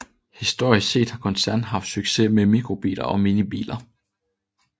Historisk set har koncernen haft succes med mikrobiler og minibiler